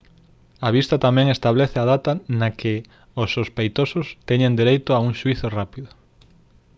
a vista tamén establece a data na que os sospeitosos teñen dereito a un xuízo rápido